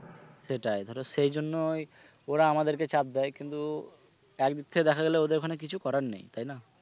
সেটাই ধরো সেই জন্য ওই ওরা আমাদেরকে চাপ দেয় কিন্তু একদিক থেকে দেখা গেলে ওদের ওখানে কিছু করার নেই তাই না?